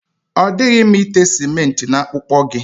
Ọ dịghị mma ite simenti na akpụkpọ gị.